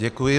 Děkuji.